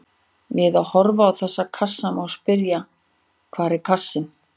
Við að horfa á þessa kassa má spyrja: hvar er kassinn?